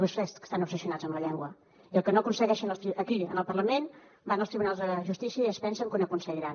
vostès estan obsessionats amb la llengua i el que no aconsegueixen aquí en el parlament van als tribunals de justícia i es pensen que ho aconseguiran